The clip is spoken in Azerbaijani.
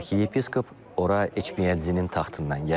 Arxiyepiskop ora Etmiyadzinin taxtından gəlib.